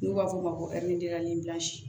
N'u b'a f'o ma ko